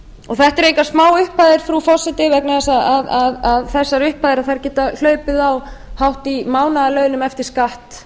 þetta eru engar smáupphæðir frú forseti vegna þess að þessar upphæðir geta hlaupið hátt í mánaðarlaunum eftir skatt